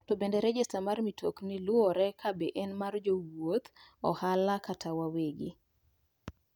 To bende rejesta mar mitokni luore ka be en mar jowuoth, ohala kata mar wawegi